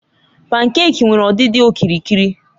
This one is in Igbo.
Pankèki nwere ọdịdị okirikiri.